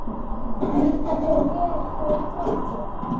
Líkar þér vel hjá Þrótti?